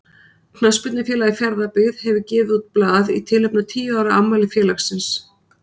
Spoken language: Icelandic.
Knattspyrnufélagið Fjarðabyggð hefur gefið út blað í tilefni af tíu ára afmæli félagsins.